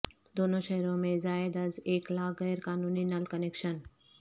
دونوں شہروں میں زائد از ایک لاکھ غیر قانونی نل کنکشن